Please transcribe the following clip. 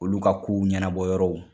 Olu ka kow ɲanabɔ yɔrɔw